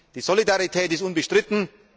Die Solidarität ist unbestritten.